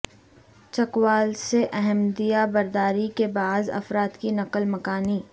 چکوال سے احمدیہ برداری کے بعض افراد کی نقل مکانی